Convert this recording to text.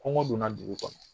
Kɔngɔ donna dugu kɔnɔ